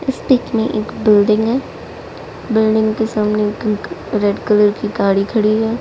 इस पिक में एक बिल्डिंग है बिल्डिंग के सामने एक रेड कलर की गाड़ी खड़ी है।